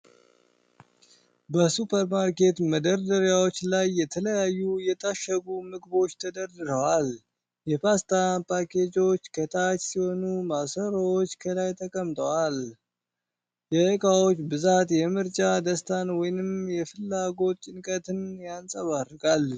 በሱፐርማርኬት መደርደሪያዎች ላይ የተለያዩ የታሸጉ ምግቦች ተደርድረዋል። የፓስታ ፓኬጆች ከታች ሲሆኑ፣ ማሰሮዎች ከላይ ተቀምጠዋል። የእቃዎች ብዛት የምርጫ ደስታን ወይም የፍላጎት ጭንቀትን ያንጸባርቃል።